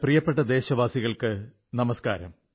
പ്രിയപ്പെട്ട ദേശവാസികൾക്കു നമസ്കാരം